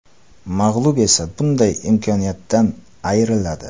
Mag‘lub esa bunday imkoniyatdan ayriladi.